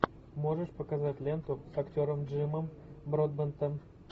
можешь показать ленту с актером джимом бродбентом